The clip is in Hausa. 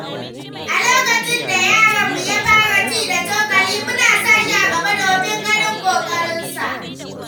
A lokacin da yaronmu ya fara ci da cokali, muna sa shi a gaba domin ganin kokarinsa.